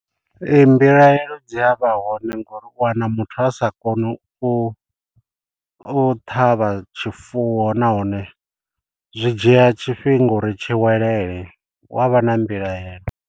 Ee mbilahelo dzi a vha hone ngori u wana muthu a sa koni u u ṱhavha tshifuwo nahone zwi dzhia tshifhinga uri tshi welele hu avha na mbilahelo.